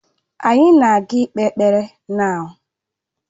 Anyị na ga ikpe ekpere now.